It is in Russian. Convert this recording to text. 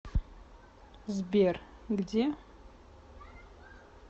сбер где